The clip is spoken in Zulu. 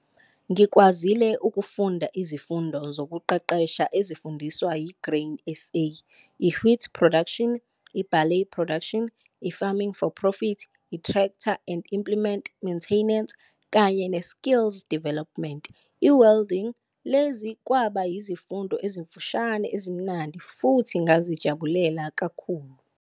Ngikwazile ukufunda izifundo zokuqeqesha ezifundiswa yiGrain SA- I-Wheat Production, i-Barley Production, i-Farming for Profit, i-Tractor and Implement Maintenance, kanye ne-Skills Development- i-Welding. Lezi kwaba yizifundo ezimfushane ezimnandi futhi ngazijabulela kakhulu.